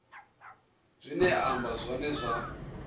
zwine a amba zwone zwa